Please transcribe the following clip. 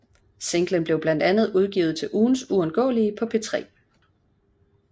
Singlen blev blandt andet udvalgt til ugens uundgåelige på P3